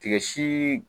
Tigɛ sii